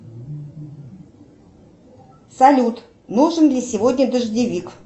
салют нужен ли сегодня дождевик